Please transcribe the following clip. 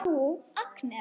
Nú, Agnes.